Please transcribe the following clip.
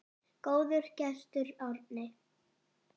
Góður gestur, Árni.